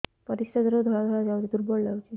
ପରିଶ୍ରା ଦ୍ୱାର ରୁ ଧଳା ଧଳା ଯାଉଚି ଦୁର୍ବଳ ଲାଗୁଚି